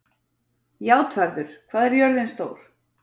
Játvarður, hvað er jörðin stór?